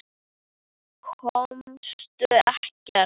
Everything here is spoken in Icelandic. Komust ekkert.